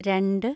രണ്ട്